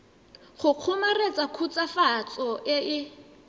go kgomaretsa khutswafatso e e